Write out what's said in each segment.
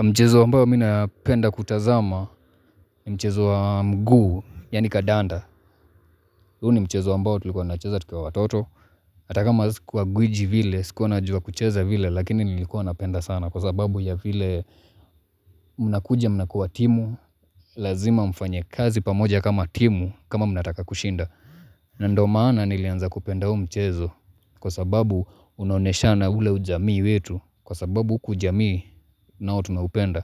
Mchezo ambao minapenda kutazama ni mchezo wa mguu, yani kadanda. Huo ni mchezo ambao tulikuwa tunacheza tukiwa watoto. Hatakama sikuwa gwiji vile, sikuwa najua kucheza vile, lakini nilikuwa napenda sana kwa sababu ya vile. Mnakuja mnakuwa timu, lazima mfanye kazi pamoja kama timu, kama mnataka kushinda. Na ndio maana nilianza kupenda huu mchezo kwa sababu unaoneshana ule ujamii wetu, kwa sababu huku ujamii na tunaupenda.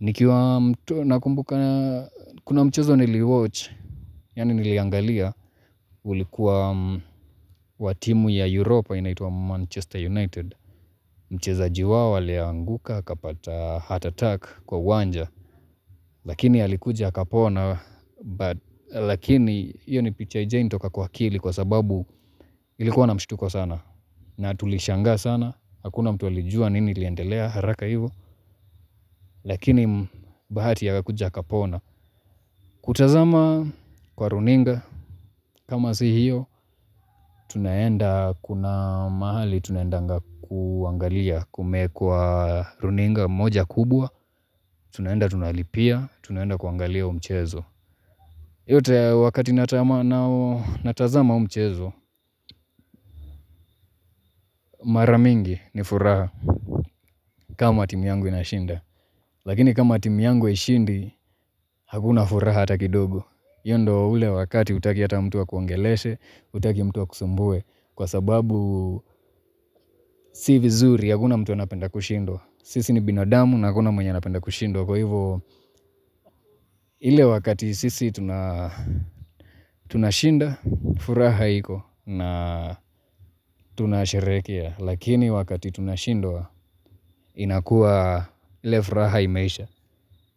Nikiwa mtu nakumbuka, kuna mchezo niliwatch, yani niliangalia, ulikuwa watimu ya Europa inaitwa Manchester United, mchezaji wao alianguka akapata heart attack kwa uwanja, lakini alikuja akapona, but lakini hiyo ni picha haijainitoka kwa akili kwa sababu nilikuwa na mshtuko sana, na tulishanga sana, hakuna mtu alijua nini iliendelea haraka hivyo, lakini bahati akakuja akapona. Kutazama kwa runinga, kama si hiyo, tunaenda kuna mahali, tunaendanga kuangalia kumeekwa runinga moja kubwa, tunaenda tunalipia, tunaenda kuangalia huo mchezo. Yote wakati natazama huu mchezo, maramingi ni furaha kama timu yangu inashinda. Lakini kama timu yangu haishindi, hakuna furaha ata kidogo. Hiyo ndio ule wakati hutaki ata mtu akuongeleshe, hutaki mtu akusumbue. Kwa sababu si vizuri hakuna mtu anapenda kushindwa. Sisi ni binadamu na hakuna mwenye anapenda kushindwa. Kwa hivyo, ile wakati sisi tunashinda, furaha iko na tunasherekea. Lakini wakati tunashindwa inakuwa ile furaha imeisha.